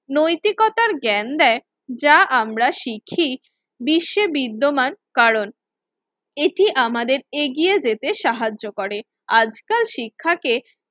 নৈতিকতার জ্ঞান দেয় যা আমরা শিখি বিশ্বের বিদ্যমান কারণ, এটি আমাদের এগিয়ে যেতে সাহায্য করে। আজকাল শিক্ষাকে